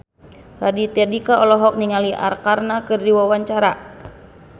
Raditya Dika olohok ningali Arkarna keur diwawancara